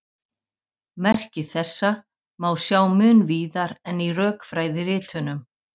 Merki þessa má sjá mun víðar en í rökfræðiritunum.